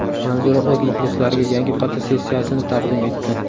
Manzura o‘z muxlislariga yangi fotosessiyasini taqdim etdi .